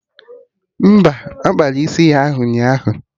Mba, ọ kpara isi ya ụnyaahụ